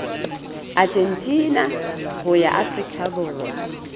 argentina ho ya afrika borwa